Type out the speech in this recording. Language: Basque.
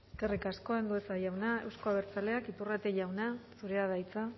eskerrik asko andueza jauna euzko abertzaleak iturrate jauna zurea da hitza